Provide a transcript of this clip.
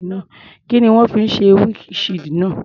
Kí ni wọ́n fi ṣe windshield náà?